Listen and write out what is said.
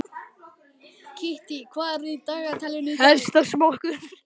Kittý, hvað er á dagatalinu í dag?